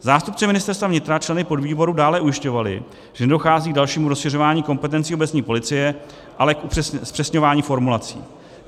Zástupci Ministerstva vnitra členy podvýboru dále ujišťovali, že nedochází k dalšímu rozšiřování kompetencí obecní policie, ale k upřesňování formulací.